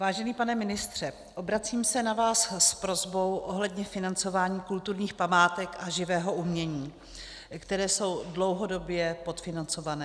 Vážený pane ministře, obracím se na vás s prosbou ohledně financování kulturních památek a živého umění, které jsou dlouhodobě podfinancované.